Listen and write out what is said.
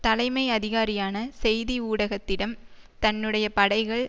தலைமை அதிகாரியான செய்தி ஊடகத்திடம் தன்னுடைய படைகள்